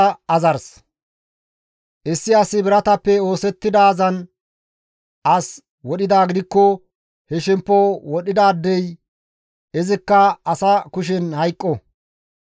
« ‹Issi asi biratappe oosettidaazan as wodhidaa gidikko he shemppo wodhidaadey izikka asa kushen hayqqo.